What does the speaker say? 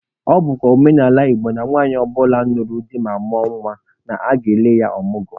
Ọ bụkwa omenala Igbo na nwaanyị ọ bụla nụrụ di ma mụọ nwa, na aga-ele ya ọmụgwọ.